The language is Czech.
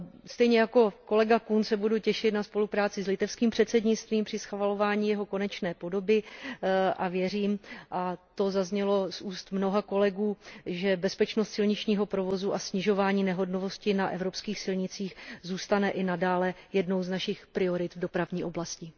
Stejně jako kolega Kuhn se budu těšit na spolupráci s litevským předsednictvím při schvalování jeho konečné podoby a věřím, a to zaznělo z úst mnoha kolegů, že bezpečnost silničního provozu a snižování nehodovosti na evropských silnicích zůstane i nadále jednou z našich priorit v dopravní oblasti.